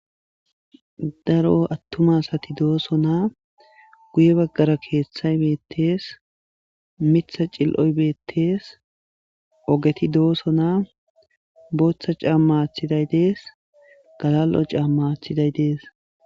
daro attumasati dooso naa guye baggara keeththay beettes mitha cil7oy beettees ogeti dooso naa booththa caamma athiday dees galal7o caamma athiday dees